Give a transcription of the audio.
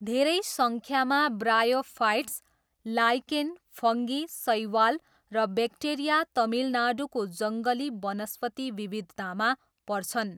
धेरै सङ्ख्यामा bryophytes, lichen, fungi, शैवाल र ब्याक्टेरिया तमिलनाडुको जङ्गली वनस्पति विविधतामा पर्छन्।